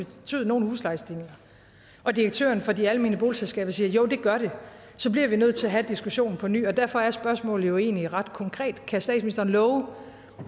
betyde nogle huslejestigninger og direktøren for de almene boligselskaber siger at jo det gør det så bliver vi nødt til at have diskussionen på ny og derfor er spørgsmålet jo egentlig ret konkret kan statsministeren love